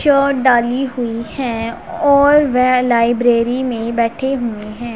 डाली हुई हैं और वे लाइब्रेरी में बैठे हुए हैं।